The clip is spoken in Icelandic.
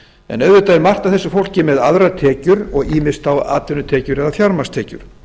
en auðvitað er margt af þess fólki með aðrar tekjur ýmist þá atvinnutekjur eða fjármagnstekjur